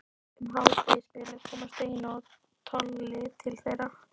Um hádegisbilið koma Steini og Tolli til þeirra.